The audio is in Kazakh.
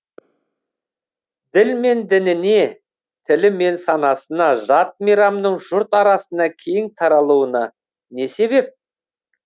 ділі мен дініне тілі мен санасына жат мейрамның жұрт арасына кең таралуына не себеп